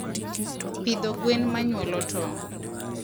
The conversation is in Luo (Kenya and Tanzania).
pidho gwen manyuolo tong